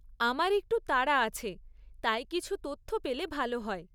আমার একটু তাড়া আছে তাই কিছু তথ্য পেলে ভাল হয়।